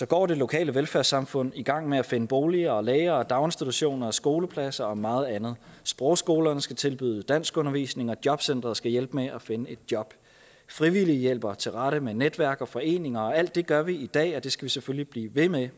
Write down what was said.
går det lokale velfærdssamfund i gang med at finde boliger læger daginstitutioner skoleklasser og meget andet sprogskolerne skal tilbyde danskundervisning og jobcenteret skal hjælpe med at finde et job frivillige hjælper til rette med netværk og foreninger alt det gør vi i dag og det skal vi selvfølgelig blive ved med